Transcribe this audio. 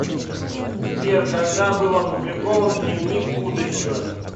сбер когда был опубликован дневник будущего